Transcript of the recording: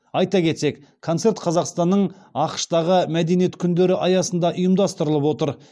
айта кетсек концерт қазақстанның ақш тағы мәдениет күндері аясында ұйымдастырылып отыр